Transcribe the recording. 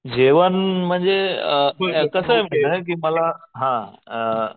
जेवण म्हणजे कसं आहे माहिती आहे का हां